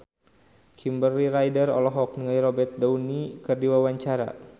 Kimberly Ryder olohok ningali Robert Downey keur diwawancara